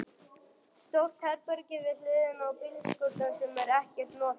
Stórt herbergi við hliðina á bílskúrnum sem er ekkert notað.